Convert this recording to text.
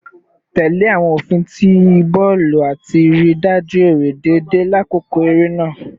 Tẹle awọn ofin ti bọọlu ati rii daju ere deede lakoko ere naa